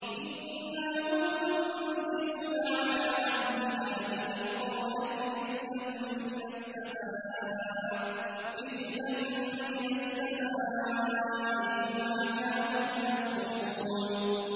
إِنَّا مُنزِلُونَ عَلَىٰ أَهْلِ هَٰذِهِ الْقَرْيَةِ رِجْزًا مِّنَ السَّمَاءِ بِمَا كَانُوا يَفْسُقُونَ